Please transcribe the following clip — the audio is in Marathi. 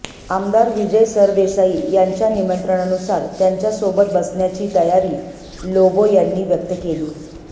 आमदार विजय सरदेसाई यांच्या निमंत्रणानुसार त्यांच्यासोबत बसण्याची तयारी लोबो यांनी व्यक्त केली